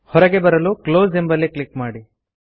ಹೊರಗೆ ಬರಲು ಕ್ಲೋಸ್ ಎಂಬಲ್ಲಿ ಕ್ಲಿಕ್ ಮಾಡಿ